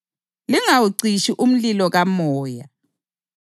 lingazeyisi iziphrofethi